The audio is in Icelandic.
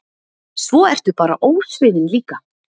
Svo ertu bara ósvífin líka.